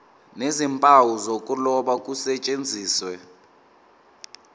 nezimpawu zokuloba kusetshenziswe